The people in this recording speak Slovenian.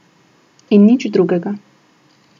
In nič drugega.